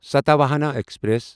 Satavahana express